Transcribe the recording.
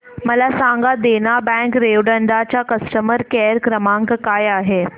मला सांगा देना बँक रेवदंडा चा कस्टमर केअर क्रमांक काय आहे